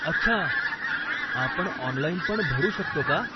अच्छा, आपण ऑनलाईनपण भरू शकतो का?